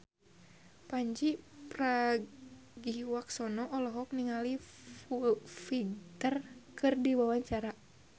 Pandji Pragiwaksono olohok ningali Foo Fighter keur diwawancara